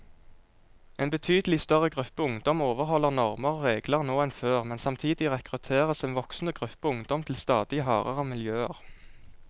En betydelig større gruppe ungdom overholder normer og regler nå enn før, men samtidig rekrutteres en voksende gruppe ungdom til stadig hardere miljøer.